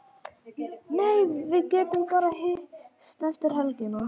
Nei, við getum bara hist eftir helgina.